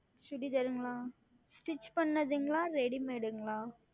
Chudithar ங்களா Stich செய்ததுங்களா Readymade ங்களா